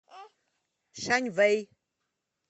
шаньвэй